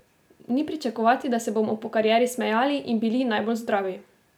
Ni pričakovati, da se bomo po karieri smejali in bili najbolj zdravi.